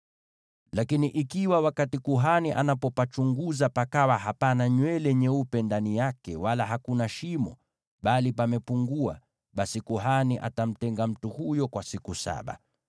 Lakini ikiwa wakati kuhani anapopachunguza pakawa hapana nywele nyeupe ndani yake, wala hakuna shimo bali pamepungua, basi kuhani atamtenga mtu huyo kwa siku saba.